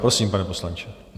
Prosím, pane poslanče.